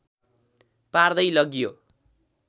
पार्दै लग्यो